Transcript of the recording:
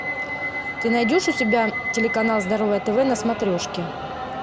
ты найдешь у себя телеканал здоровое тв на смотрешке